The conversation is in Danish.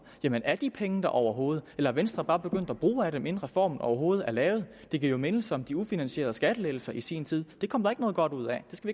jamen er de penge der overhovedet eller er venstre bare begyndt at bruge af dem inden reformen overhovedet er lavet det giver jo mindelser om de ufinansierede skattelettelser i sin tid det kom der ikke noget godt ud af det skal